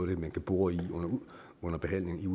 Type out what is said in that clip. det man kan bore i under behandlingen